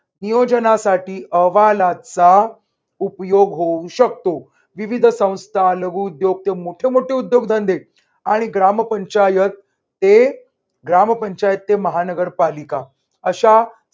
नियोजनासाठी अहवालाचा उपयोग होऊ शकतो. विविध संस्था लघुउद्योग ते मोठे मोठे उद्योगधंदे आणि ग्रामपंचायत हे ग्रामपंचायत ते महानगरपालिका अशा